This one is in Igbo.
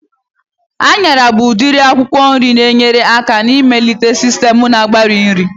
Anyara bụ udiri akwụkwọ nri na-enyere aka na-ịmelite sistem na-agbari nri